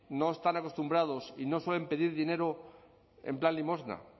no están acostumbrados y no suelen pedir dinero en plan limosna